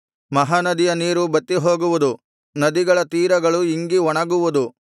ಮಹಾನದಿಯ ನೀರು ಬತ್ತಿಹೋಗುವುದು ನದಿಗಳ ತೀರಗಳು ಇಂಗಿ ಒಣಗುವುದು